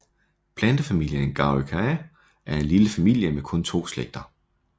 Plantefamilien Garryaceae er en lille familie med kun to slægter